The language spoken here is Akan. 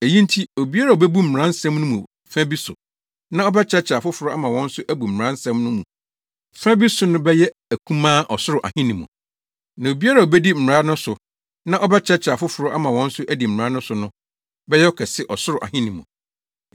Eyi nti, obiara a obebu mmara nsɛm no mu fa bi so na ɔbɛkyerɛkyerɛ afoforo ama wɔn nso abu mmara nsɛm no mu fa bi so no bɛyɛ akumaa ɔsoro ahenni mu. Na obiara a obedi mmara no so, na ɔbɛkyerɛkyerɛ afoforo ama wɔn nso adi mmara no so no bɛyɛ ɔkɛse Ɔsoro Ahenni mu.